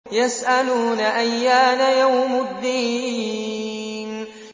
يَسْأَلُونَ أَيَّانَ يَوْمُ الدِّينِ